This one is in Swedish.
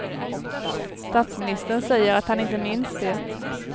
Statsministern säger att han inte minns det.